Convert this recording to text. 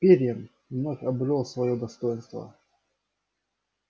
пиренн вновь обрёл своё достоинство